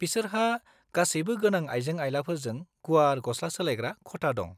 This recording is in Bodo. -बिसोरहा गासैबो गोनां आइजें-आइलाफोरजों गुवार गस्ला सोलायग्रा खथा दं।